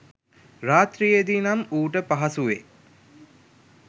රාත්‍රියේදී නම් ඌට පහසුවෙ